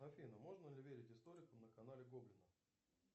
афина можно ли верить историкам на канале гоблина